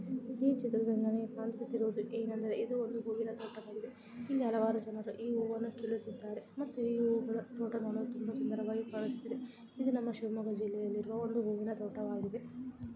ಈ ಚಿತ್ರದಲ್ಲಿ ನಮಗೆ ಕಾಣಿಸುತ್ತಾ ಇರೋದು ಇದು ಒಂದು ಹೂವಿನ ತೋಟ. ಇಲ್ಲಿ ಹಲವಾರು ಜನ ಹೂಗಳನ್ನು ಕೀಳುತ್ತಿದ್ದಾರೆ ಮತ್ತೆ ಇವುಗಳು ನೋಡಲು ತುಂಬಾ ಸುಂದರವಾಗಿ ಕಾಣುತ್ತಿದೆ ಇದು ನಮ್ಮ ಶಿವಮೊಗ್ಗ ಜಿಲ್ಲೆಯಲ್ಲಿರುವ ಒಂದು ಹೂವಿನ ತೋಟವಾಗಿದೆ.